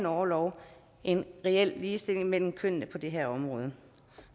orlov en reel ligestilling mellem kønnene på det her område